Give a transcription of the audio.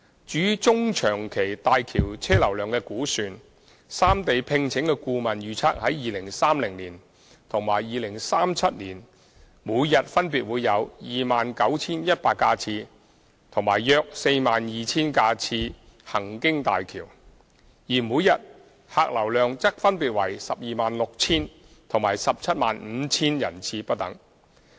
至於中、長期大橋車流量的估算，三地聘請的顧問預測於2030年及2037年每天分別會有約 29,100 架次及約 42,000 架次行經大橋；而每天客流量則分別為 126,000 及 175,000 人次不等。